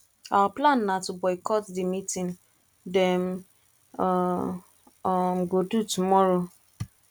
our plan na to boycott the meeting dem um um go do tomorrow